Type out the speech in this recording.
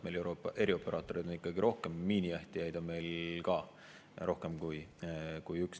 Meil on erioperaatoreid ikkagi rohkem, miinijahtijaid on meil ka rohkem kui üks.